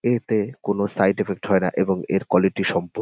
এতে কোন side effect হয় না এবং এর কোয়ালিটি সম্পূর্ --